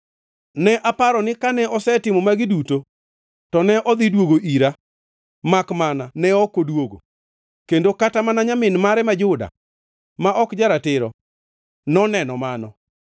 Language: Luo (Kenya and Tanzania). Ne aparo ni kane osetimo magi duto to ne odhi duogo ira makmana ne ok odwogo, kendo kata mana nyamin mare ma Juda ma ok ja-ratiro noneno mano.